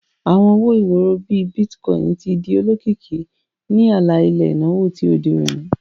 Awọn owo-iworo, bii Bitcoin, ti di olokiki ni ala-ilẹ inawo ti ode oni.